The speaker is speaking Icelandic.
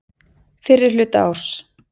Fyrri hluta árs.